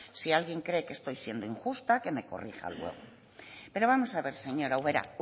si alguien cree que estoy siendo injusta que me corrija luego pero vamos a ver señora ubera